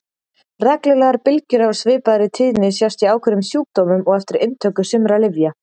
Reglulegar bylgjur af svipaðri tíðni sjást í ákveðnum sjúkdómum og eftir inntöku sumra lyfja.